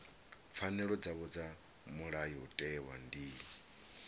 pfanelo dzavho dza mulayotewa ndi